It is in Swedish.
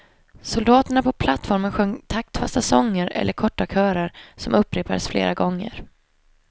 Soldaterna på plattformen sjöng taktfasta sånger eller korta körer, som upprepades flera gånger.